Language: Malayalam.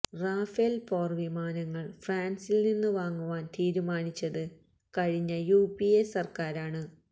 റാഫേല് പോര്വിമാനങ്ങള് ഫ്രാന്സില് നിന്ന് വാങ്ങുവാന് തീരുമാനിച്ചത് കഴിഞ്ഞ യു പി എ സര്ക്കാരാണ്